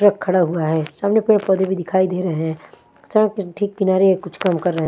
Truck खड़ा हुआ है सामने पेड़ पौधे भी दिखाई दे रहे हैं सड़क के ठीक किनारे कुछ काम कर रहे है।